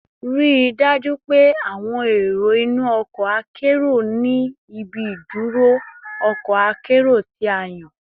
Rii daju pe awọn ero inu ọkọ akero ni ibi iduro ọkọ akero ti a yan